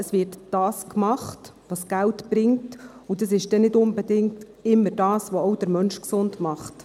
Es wird das gemacht, was Geld bringt, und das ist nicht unbedingt immer das, was auch den Menschen gesund macht.